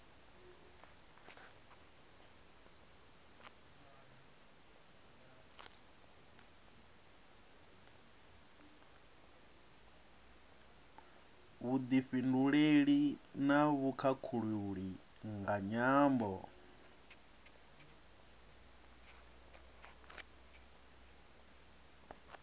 vhufhinduleli na vhukhakhulili nga nyambo